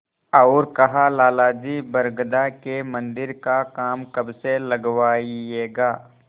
और कहालाला जी बरगदा के मन्दिर का काम कब से लगवाइएगा